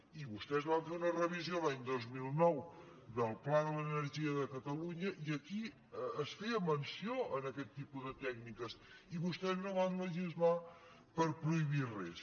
i vostès van fer una revisió l’any dos mil nou del pla de l’energia de catalunya i aquí es feia menció en aquest tipus de tècniques i vostès no van legislar per prohibir res